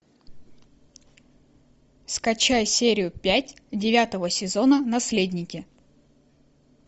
скачай серию пять девятого сезона наследники